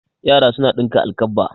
Yara suna ɗinka alkabba.